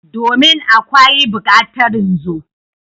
Domin!akawi bukatarin zo.